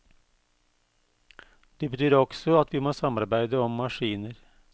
Det betyr også at vi må samarbeide om maskiner.